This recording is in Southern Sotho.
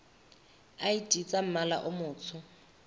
id tsa mmala o motsho